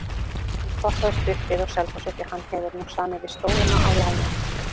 Hann stoppaði stutt við á Selfossi því hann hefur nú samið við Stólana á láni.